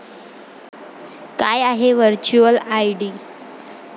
काय आहे virtual ID?